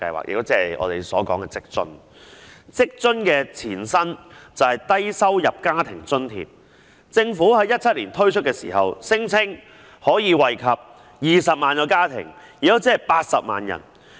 職津計劃的前身是低收入在職家庭津貼計劃，政府在2017年推出時聲稱可惠及20萬個家庭，即80萬人。